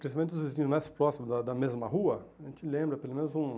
Principalmente os vizinhos mais próximos, da da mesma rua, a gente lembra pelo menos um...